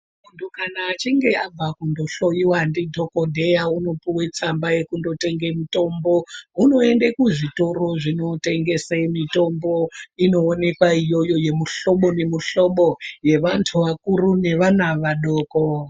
Muntu kana achinge abva kunohloliwa ndidhogodheya, unopiwe tsamba yekunotenge mitombo. Unoyende kuzvitora zvinotengese mitombo inowonekwa iyoyo yemihlobo nemihlobo yevantu vakuru nevana vadoko.